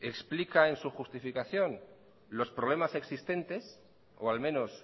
explica en su justificación los problemas existentes o al menos